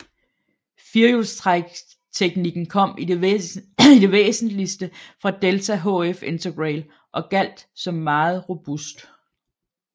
Firehjulstrækteknikken kom i det væsentligste fra Delta HF Integrale og gjaldt som meget robust